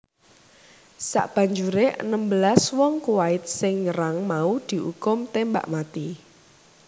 Sabanjuré enem belas wong Kuwait sing nyerang mau diukum tembak mati